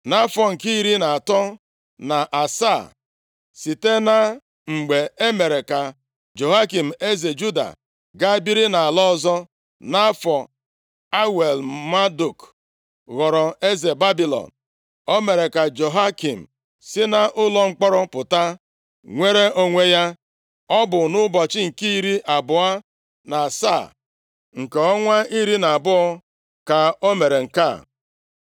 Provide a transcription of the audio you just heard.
Nʼafọ nke iri atọ na asaa, site na mgbe e mere ka Jehoiakin eze Juda gaa biri nʼala ọzọ, nʼafọ Awel-Maduk + 25:27 Ọ bụ ya bụkwa Evil-Merodak. ghọrọ eze Babilọn, o mere ka Jehoiakin si nʼụlọ mkpọrọ pụta nwere onwe ya. Ọ bụ nʼụbọchị nke iri abụọ na asaa nke ọnwa iri na abụọ ka o mere nke a.